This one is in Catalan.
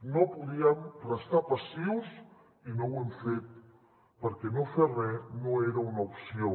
no podíem restar passius i no ho hem fet perquè no fer re no era una opció